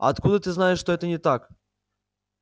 а откуда ты знаешь что это не так